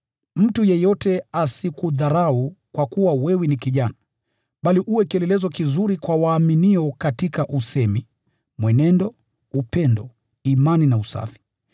Mtu yeyote asikudharau kwa kuwa wewe ni kijana, bali uwe kielelezo kizuri kwa waumini katika usemi, mwenendo, upendo, imani na usafi.